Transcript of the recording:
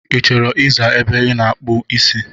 Ị chọrọ ị zaa ebe ị na-akpụ isi?